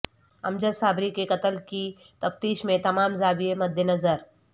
امجد صابری کے قتل کی تفتیش میں تمام زاویے مدنظر